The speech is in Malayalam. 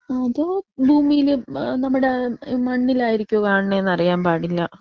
അതോ ഭൂമിയിൽ ഏഹ് നമ്മുടെ മണ്ണിലായിരിക്കോ കാണുന്നെന്ന് അറിയാൻ പാടില്ല.